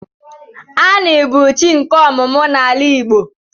Ani bu chi nke omumu n'ala Igbo.